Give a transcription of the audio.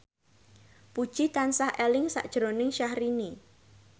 Puji tansah eling sakjroning Syahrini